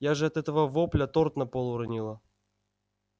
я же от этого вопля торт на пол уронила